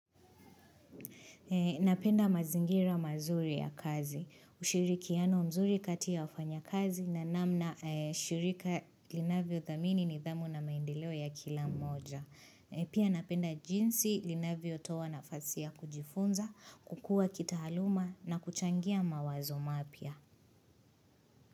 Napenda mazingira mazuri ya kazi, ushirikiano mazuri kati ya ufanya kazi na namna shirika linavyo thamini nidhamu na maendeleo ya kila mmoja. Pia napenda jinsi linavyo toa nafasi ya kujifunza, kukua kitahaluma na kuchangia mawazo mapya.